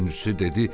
Üçüncüsü dedi: